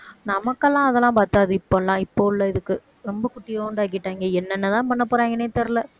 நமக்கெல்லாம் அதெல்லாம் பத்தாது இப்பல்லாம் இப்ப உள்ள இதுக்கு ரொம்ப குட்டியுண்டு ஆக்கிட்டாங்க என்னென்னதான் பண்ணப் போறாங்கன்னே தெரியல